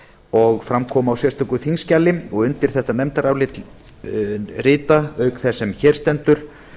og fram kom á sérstöku þingskjali undir þetta nefndarálit rita auk þess sem hér stendur